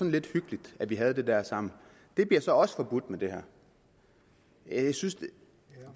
lidt hyggeligt at vi havde det der sammen det bliver så også forbudt med det her jeg synes det